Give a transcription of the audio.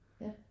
Ja